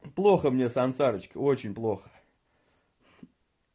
плохо мне сансарычка очень плохо